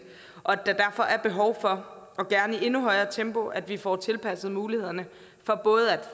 og at der derfor er behov for og gerne i et endnu højere tempo at vi får tilpasset mulighederne